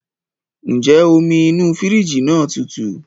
Ǹjẹ́ omi inú fírìjì náà tutù?